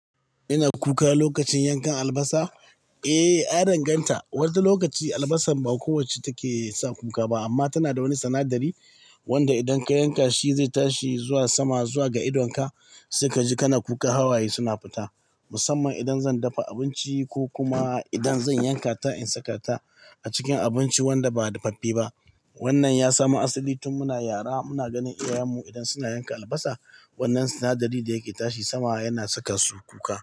Ina kuka lokacin yankan albasa? Eh, ya danganta. Wata lokaci albasa ba kowacce take sa kuka ba amma tana da wani sinadari wanda idan ka yanka shi zai tashi zuwa sama zuwa ga idonka, sai kaji kana kuka hawaye suna fita. Musamman idan zan dafa abinci ko kuma idan zan yanka ta in saka ta a cikin abinci wanda ba dafaffe ba. Wannan ya samu asali tun muna yara muna ganin iyayenmu idan suna yanka albasa, wannan sinadari da yake tashi sama yana saka su kuka.